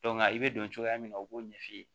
i bɛ don cogoya min na u b'o ɲɛf'i ye